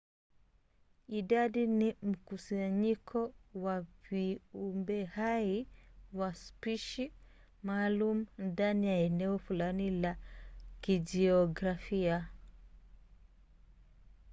idadi ni mkusanyiko wa viumbehai wa spishi maalum ndani ya eneo fulani la kijiografia